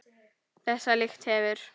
Þessa lykt hefur